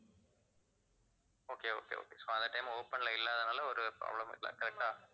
okay okay okay so அந்த time open ல இல்லாததுனால ஒரு problem இல்லை correct ஆ